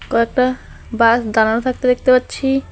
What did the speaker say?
কয়েকটা বাস দাঁড়ানো থাকতে দেখতে পাচ্ছি।